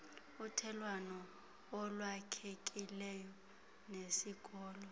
uthelelwano olwakhekileyo nesikolo